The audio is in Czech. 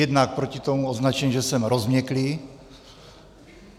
Jednak proti tomu označení, že jsem rozměklý.